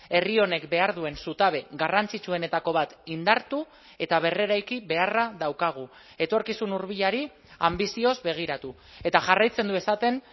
herri honek behar duen zutabe garrantzitsuenetako bat indartu eta berreraiki beharra daukagu etorkizun hurbilari anbizioz begiratu eta jarraitzen du esaten